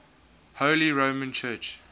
holy roman church